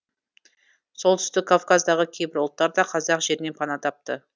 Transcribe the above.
солтүстік кавказдағы кейбір ұлттар да қазақ жерінен пана тапты